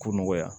Ko nɔgɔya